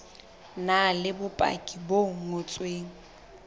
na le bopaki bo ngotsweng